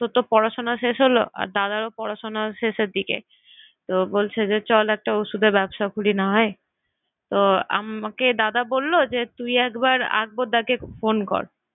তোর তো পড়াশোনা শেষ হলো আর দাদারও পড়াশোনা শেষের দিকে। তো বলছে যে চল একটা ঔষুধের ব্যবসা খুলি নাহয়। তো আমাকে দাদা বললো যে তুই একবার আকবর দাকে phone কর।